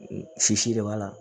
Sisi de b'a la